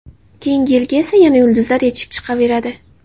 Keyinga yilga esa yana yulduzlar yetishib chiqaveradi.